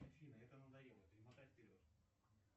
афина это надоело перемотай вперед